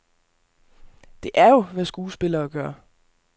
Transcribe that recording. Det er jo, hvad skuespillere gør.